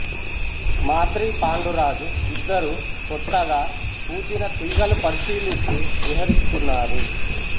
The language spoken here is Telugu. మాద్రి పాండురాజు ఇద్దరూ క్రొత్తగా పూచిన తీగలు పరిశీలిస్తూ విహరిస్తున్నారు